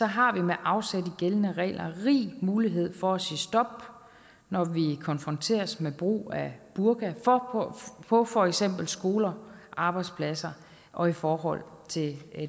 har vi med afsæt i gældende regler rig mulighed for at sige stop når vi konfronteres med brug af burka på for eksempel skoler arbejdspladser og i forhold til